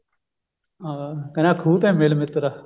ਹਾਂ ਕਹਿੰਦਾ ਖੂਹ ਤੇ ਮਿਲ ਮਿਤਰਾ